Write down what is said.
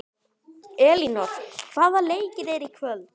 Elínór, hvaða leikir eru í kvöld?